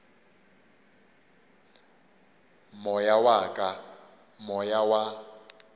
moya wa ka moya wa